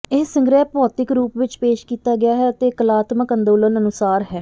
ਇਹ ਸੰਗ੍ਰਹਿ ਭੌਤਿਕ ਰੂਪ ਵਿਚ ਪੇਸ਼ ਕੀਤਾ ਗਿਆ ਹੈ ਅਤੇ ਕਲਾਤਮਕ ਅੰਦੋਲਨ ਅਨੁਸਾਰ ਹੈ